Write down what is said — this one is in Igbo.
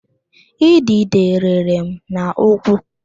Idide rịrị m n'ụkwụ